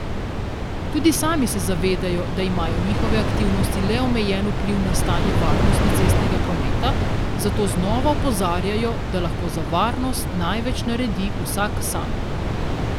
Tudi sami se zavedajo, da imajo njihove aktivnosti le omejen vpliv na stanje varnosti cestnega prometa, zato znova opozarjajo, da lahko za varnost največ naredi vsak sam.